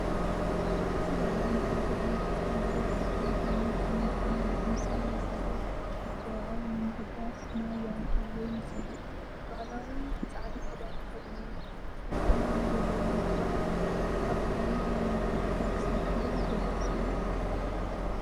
እዚ በዓል ንጥምቀት ኢየሱስ ክርስቶስ ዝዝክር ኮይኑ፡ ኣመንቲ ድማ ብተምሳል ናይ ጥምቀት መብጽዓኦም ንምሕዳስ ማይ ይኣትዉ ወይ ይነጽጉ። ባህላዊ ጻዕዳ ክዳን ተኸዲኖም፣ እዚ ድማ መለለዪ ናይቲ በዓል እዩ። ኣብ ባህልን ሃይማኖትን ኢትዮጵያ ክሳብ ክንደይ ኣገዳሲ እዩ?